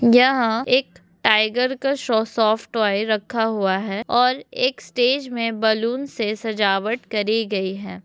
यहाँ एक टाइगर का शो सॉफ्ट टोय रखा हुआ है और एक स्टेज मे बलून से सजावट करी गई है।